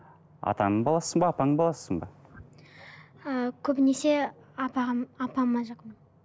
атаңның баласысың ба апаңның баласысың ба ыыы көбінесе апам апама жақынмын